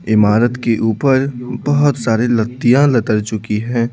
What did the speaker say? इमारत के ऊपर बहुत सारी लत्तियां चुकी हैं।